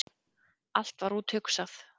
Allt var úthugsað.